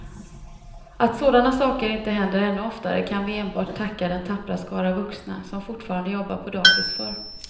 Att sådana saker inte händer ännu oftare kan vi enbart tacka den tappra skara vuxna som fortfarande jobbar på dagis för.